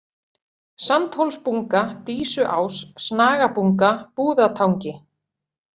Sandhólsbunga, Dísuás, Snagabunga, Búðatangi